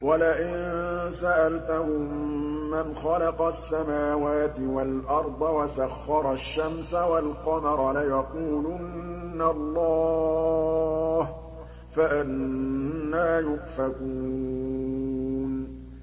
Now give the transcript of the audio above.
وَلَئِن سَأَلْتَهُم مَّنْ خَلَقَ السَّمَاوَاتِ وَالْأَرْضَ وَسَخَّرَ الشَّمْسَ وَالْقَمَرَ لَيَقُولُنَّ اللَّهُ ۖ فَأَنَّىٰ يُؤْفَكُونَ